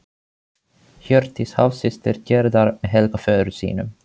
Hjördís hálfsystir Gerðar með Helga föður sínum.